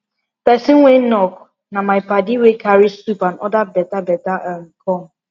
person wey knock na my padi wey carry soup and other beta bata um come